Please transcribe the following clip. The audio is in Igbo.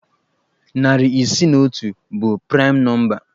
Narị isii na otu bụ praịm nọmba